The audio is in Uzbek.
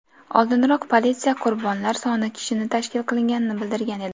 Oldinroq politsiya qurbonlar soni kishini tashkil qilganini bildirgan edi .